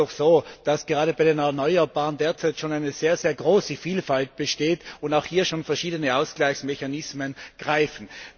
Es ist doch so, dass gerade bei den erneuerbaren Energien derzeit schon eine sehr große Vielfalt besteht und auch hier schon verschiedene Ausgleichsmechanismen greifen.